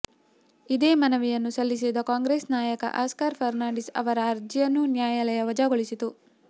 ಇದೇ ಮನವಿಯನ್ನು ಸಲ್ಲಿಸಿದ್ದ ಕಾಂಗ್ರೆಸ್ ನಾಯಕ ಆಸ್ಕರ್ ಫರ್ನಾಂಡಿಸ್ ಅವರ ಅರ್ಜಿಯನ್ನೂ ನ್ಯಾಯಾಲಯ ವಜಾಗೊಳಿಸಿತು